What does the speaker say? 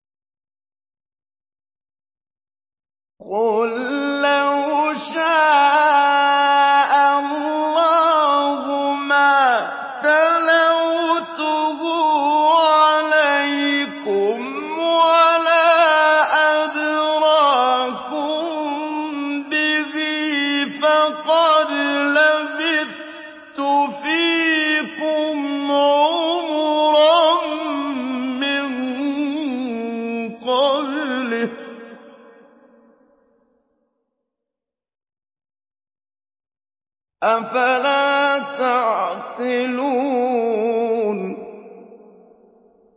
قُل لَّوْ شَاءَ اللَّهُ مَا تَلَوْتُهُ عَلَيْكُمْ وَلَا أَدْرَاكُم بِهِ ۖ فَقَدْ لَبِثْتُ فِيكُمْ عُمُرًا مِّن قَبْلِهِ ۚ أَفَلَا تَعْقِلُونَ